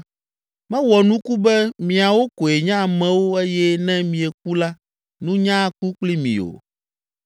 “Mewɔ nuku be miawo koe nye amewo eye ne mieku la nunya aku kpli mi o!